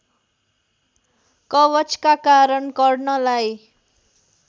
कवचका कारण कर्णलाई